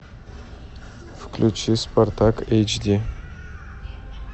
включи спартак эйч ди